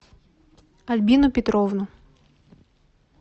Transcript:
альбину петровну